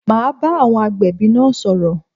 Ma bá àwọn agbẹ̀bí náà sọ̀rọ̀